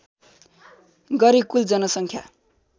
गरी कुल जनसङख्या